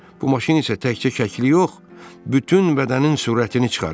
Bu maşın isə təkcə şəkli yox, bütün bədənin surətini çıxarır.